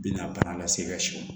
Binna bana lase e ka sɛw ma